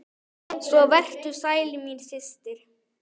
Svo vertu sæl, mín systir!